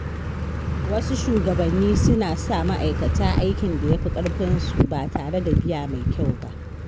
Wasu shugabannin suna sa ma'aikata aikin da ya fi ƙarfinsu ba tare da biya mai kyau ba.